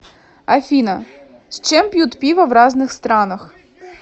афина с чем пьют пиво в разных странах